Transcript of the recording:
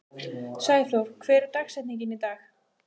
Sæþór, hver er dagsetningin í dag?